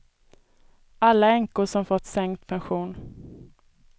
Alla änkor som fått sänkt pension.